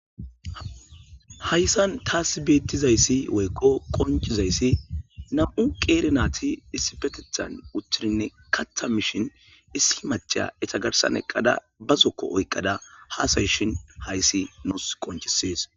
Haysan tasi beettizays qoncizays aaze giikko nam7u nayti qeeri naati issipetethann uttidi kaththi mishi eeta garsan utadayeekkizaysi taasi qoncishe beettees.